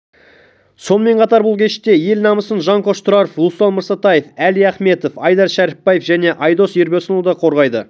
сонымен қатар бұл кеште ел намысын жанқош тұраров руслан мырсатаев әли ахметов айдар шәріпбаев және айдос ербосынұлы да қорғайды